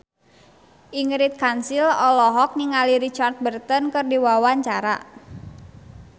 Ingrid Kansil olohok ningali Richard Burton keur diwawancara